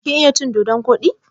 Kin iya cin dodon koɗi?